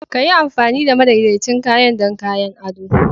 Ka yi amfani da madaidaicin kayan don kayan ado.